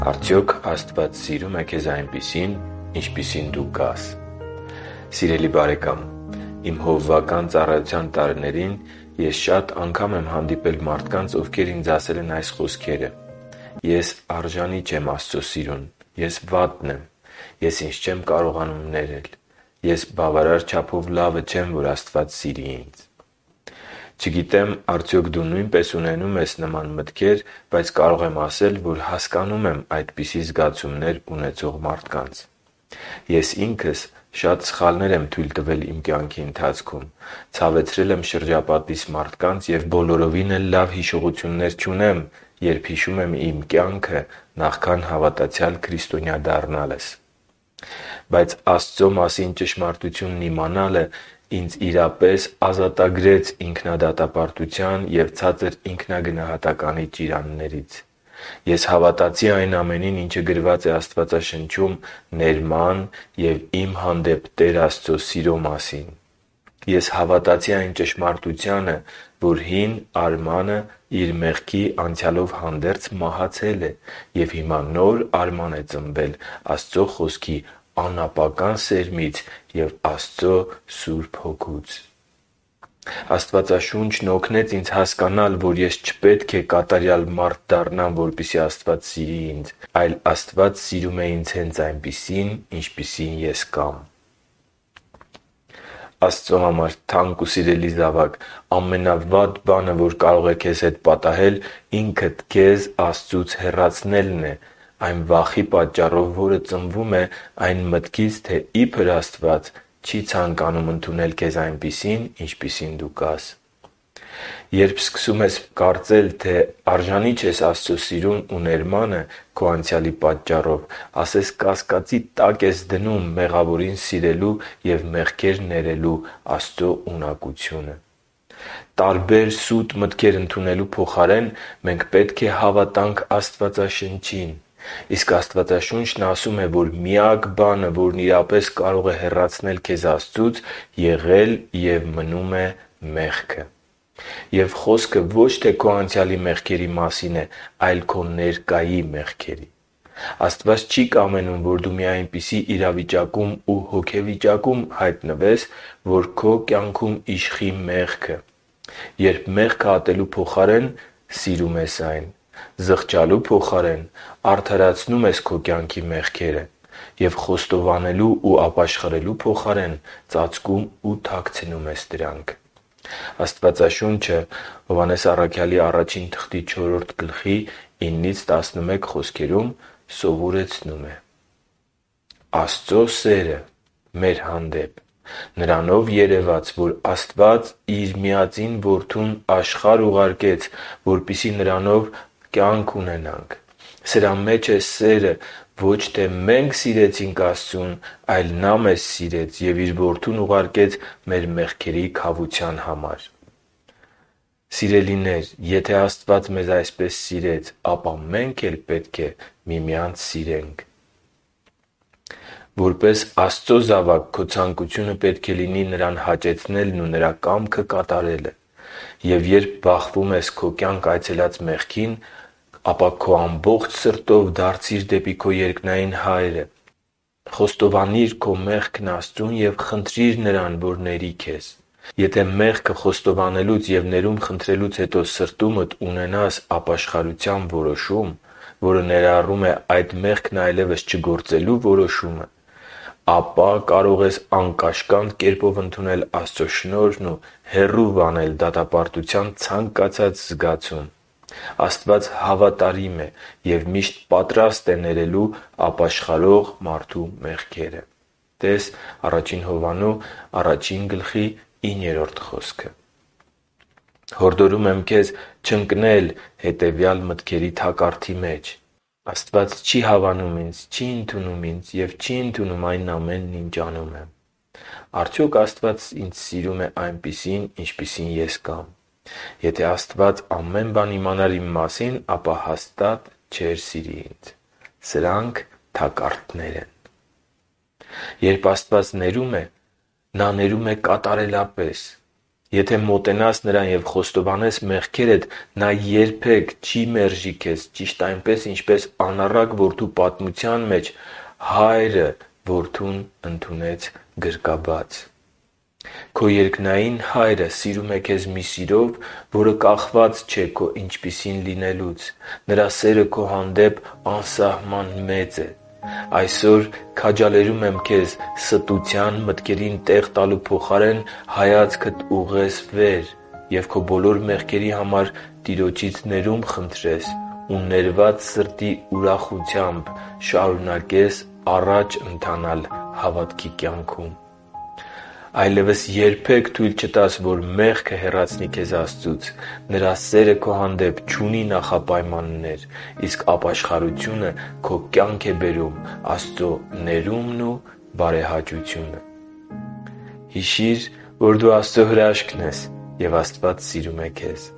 Արդյոք Աստված սիրո՞ւմ է քեզ այնպիսին, ինչպիսին դու կաս Սիրելի՛ բարեկամ, իմ հովվական ծառայության տարիներին շատ անգամ եմ հանդիպել մարդկանց, ովքեր ինձ ասել են այս խոսքերը. «Ես արժանի չեմ Աստծո սիրուն, ես վատն եմ, ես ինձ չեմ կարողանում ներել, ես բավարար չափով լավը չեմ, որ Աստված սիրի ինձ»։ Չգիտեմ՝ արդյոք դու նույնպես ունենո՞ւմ ես նման մտքեր, բայց կարող եմ ասել, որ հասկանում եմ այդպիսի զգացումներ ունեցող մարդկանց։ Ես ինքս շատ սխալներ եմ թույլ տվել իմ կյանքի ընթացքում, ցավեցրել եմ շրջապատիս մարդկանց և բոլորովին էլ լավ հիշողություններ չունեմ, երբ հիշում եմ իմ կյանքը նախքան հավատացյալ քրիստոնյա դառնալս։ Բայց Աստծո մասին ճշմարտությունն իմանալը իրապես ազատագրեց ինձ ինքնադատապարտության և ցածր ինքնագնահատականի ճիրաններից։ Ես հավատացի այն ամենին, ինչը գրված է Աստվածաշնչում ներման և իմ հանդեպ Տեր Աստծո սիրո մասին։ Ես հավատացի այն ճշմարտությանը, որ հին Արմանը իր մեղքի անցյալով հանդերձ մահացել է, և հիմա նոր Արման է ծնվել Աստծո Խոսքի անապական սերմից ու Աստծո Հոգուց։ Աստվածաշունչն օգնեց ինձ հասկանալ, որ ես չպետք է կատարյալ մարդ դառնամ, որպեսզի Աստված սիրի ինձ, այլ Աստված սիրում է ինձ հենց այնպիսին, ինչպիսին ես կամ։ Աստծո համար թանկ ու սիրելի՛ զավակ, ամենավատ բանը, որ կարող է քեզ հետ պատահել, ինքդ քեզ Աստծուց հեռացնելն է վախի պատճառով, որը ծնվում է այն մտքից, թե իբր Աստված չի ցանկանում ընդունել քեզ այնպիսին, ինչպիսին կաս։ Երբ սկսում ես կարծել, թե արժանի չես Աստծո սիրուն ու ներմանը քո անցյալի պատճառով, ասես կասկածի տակ ես դնում մեղավորին սիրելու և մեղքեր ներելու Աստծո ունակությունը։ Տարբեր սուտ մտքեր ընդունելու փոխարեն մենք պետք է հավատանք Աստվածաշնչին։ Իսկ Աստվածաշունչն ասում է, որ միակ բանը, որն իրապես կարող է հեռացնել քեզ Աստծուց եղել և մնում է մեղքը։ Եվ խոսքը ոչ թե քո անցյալի մեղքերի մասին է, այլ քո ներկայի մեղքերի։ Աստված չի կամենում, որ դու մի այնպիսի իրավիճակում ու հոգեվիճակում հայտնվես, որ քո կյանքում իշխի մեղքը՝ երբ մեղքը ատելու փոխարեն սիրում ես այն, զղջալու փոխարեն արդարացնում ես քո կյանքի մեղքերը, և խոստովանելու ու ապաշխարելու փոխարեն, ծածկում ու թաքցնում ես դրանք։ Աստվածաշունչը Ա Հովհաննես 4.9-11 խոսքում սովորեցնում է. «Աստծու սերը մեր հանդեպ նրանով երևաց, որ Աստված Իր միածին Որդուն աշխարհ ուղարկեց, որպեսզի նրանով ապրենք։ Սրա մեջ է սերը. ոչ թե մենք սիրեցինք Աստծուն, այլ Նա մեզ սիրեց և Իր Որդուն ուղարկեց մեր մեղքերի քավության համար։ Սիրելինե՛ր, եթե Աստված մեզ այսպես սիրեց, ապա մենք էլ պետք է միմյանց սիրենք»։ Որպես Աստծո զավակ քո ցանկությունը պետք է լինի Նրան հաճեցնելն ու Նրա կամքը կատարելը։ Եվ երբ բախվում ես քո կյանք այցելած մեղքին, ապա քո ամբողջ սրտով դարձի՛ր դեպի քո երկնային Հայրը, խոստովանի՛ր այն Աստծուն և խնդրի՛ր Նրան, որ քեզ։ Եթե մեղքը խոստովանելուց և ներում խնդրելուց հետո սրտումդ ունենաս ապաշխարության որոշում, որը ներառում է այդ մեղքն այլևս չգործելու որոշումը, ապա կարող ես անկաշկանդ կերպով ընդունել Աստծո շնորհն ու հեռու վանել դատապարտության ցանկացած զգացում։ Աստված հավատարիմ է և միշտ պատրաստ է ներելու ապաշխարող մարդու մեղքերը (տե՛ս Ա Հովհաննես 1.9 խոսքը)։ Հորդորում եմ քեզ չընկնել հետևյալ մտքերի թակարդի մեջ. - «Աստված չի հավանում ինձ, չի ընդունում ինձ ու այն ամենն, ինչ անում եմ»։ - «Արդյո՞ք Աստված ինձ սիրում է այնպիսին, ինչպիսին ես կամ»։ - «Եթե Աստված ամեն բան իմանար իմ մասին, ապա հաստատ չէր սիրի ինձ»։ Երբ Աստված ներում է, Նա ներում է կատարելապես։ Եթե մոտենաս Նրան և խոստովանես մեղքերդ, Նա երբե՛ք չի մերժի քեզ ճիշտ այնպես, ինչպես անառակ որդու պատմության մեջ հայրը նրան գրկաբաց ընդունեց։ Քո երկնային Հայրը սիրում է քեզ մի սիրով, որը կախված չէ քո ինչպիսին լինելուց։ Նրա սերը քո հանդեպ անսահման մեծ է։ Այսօր քաջալերում եմ քեզ ստության մտքերին տեղ տալու փոխարեն հայացքդ ուղղել վեր և քո բոլոր մեղքերի համար Տիրոջից ներում խնդրել ու ներված սրտի ուրախությամբ շարունակել առաջ ընթանալ հավատքի կյանքում։ Այլևս երբե՛ք թույլ չտաս, որ մեղքը հեռացնի քեզ Աստծուց։ Նրա սերը քո հանդեպ չունի նախապայմաններ։ Իսկ ապաշխարությունը քո կյանք է բերում Աստծո ներումն ու բարեհաճությունը։ Հիշի՛ր, որ դու Աստծո հրաշքն ես, և Աստված սիրում է քեզ։